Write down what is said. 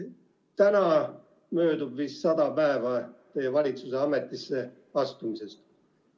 Täna möödub vist sada päeva teie valitsuse ametisse astumisest.